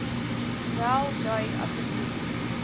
wel dui asseblief